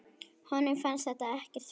Honum fannst þetta ekkert fyndið.